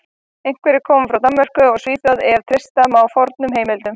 Einhverjir komu frá Danmörku og Svíþjóð ef treysta má fornum heimildum.